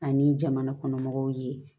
Ani jamana kɔnɔmɔgɔw ye